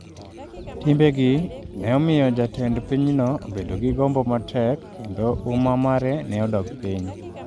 Timbe gi ne omiyo jatend pinyno obedo gi gombo matek kendo huma mare ne odok piny.